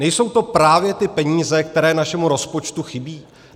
Nejsou to právě ty peníze, které našemu rozpočtu chybí?